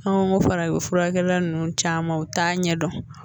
Anw ko farafin furakɛla ninnu caman u t'a ɲɛdɔn